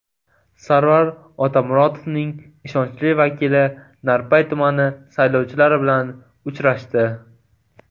Sarvar Otamuratovning ishonchli vakili Narpay tumani saylovchilari bilan uchrashdi.